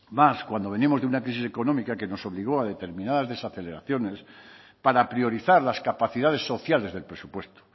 más cuando venimos de una crisis económica que nos obligó a determinadas desaceleraciones para priorizar las capacidades sociales del presupuesto